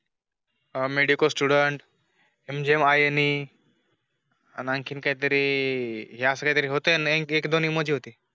medico student मंजी मायानी आन आणखीन कायतरी हे असं काहीतरी होते नि